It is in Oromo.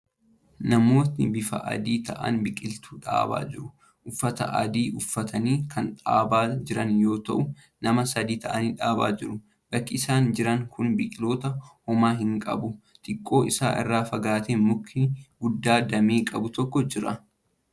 Namooti bifaan adii ta'an biqiltuu dhaabaa jiru. Uffata adii uffatanii kan dhaabaa jiran yoo ta'u, nama sadi ta'anii dhaabaa jiru. bakki isaan jiran kun biqiltuu homaa hin qabu. Xiqqoo isaan irraa fagaatee muki guddaan damee qabu tokko jira.